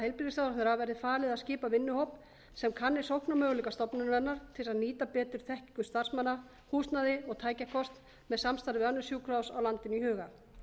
heilbrigðisráðherra verði falið að skipa vinnuhóp sem kanni sóknarmöguleika stofnunarinnar til þess að nýta betur þekkingu starfsmanna húsnæði og tækjakost með samstarf við önnur sjúkrahús á landinu í huga